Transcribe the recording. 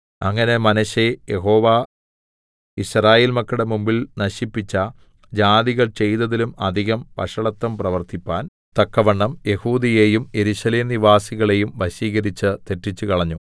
അങ്ങനെ മനശ്ശെ യഹോവ യിസ്രായേൽ മക്കളുടെ മുമ്പിൽ നശിപ്പിച്ച ജാതികൾ ചെയ്തതിലും അധികം വഷളത്തം പ്രവർത്തിപ്പാൻ തക്കവണ്ണം യെഹൂദയെയും യെരൂശലേം നിവാസികളെയും വശീകരിച്ച് തെറ്റിച്ചുകളഞ്ഞു